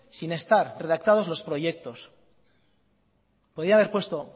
sin estar redactados los proyectos podía haber puesto